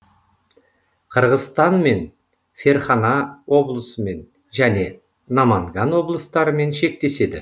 қырғызстанмен ферһана облысымен және наманган облыстарымен шектеседі